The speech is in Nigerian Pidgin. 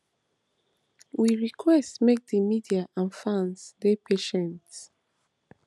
we request make di media and fans dey patient